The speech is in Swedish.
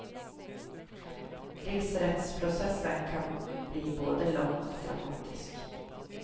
Riksrättsprocessen kan bli både lång och dramatisk.